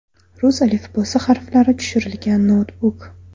Rus alifbosi harflari tushirilgan noutbuk.